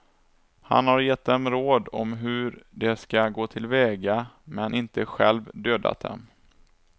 Han har gett dem råd om hur de ska gå till väga men inte själv dödat dem.